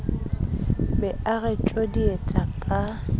be o re tjodietsa ka